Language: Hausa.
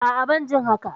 A'a, ban jin haka.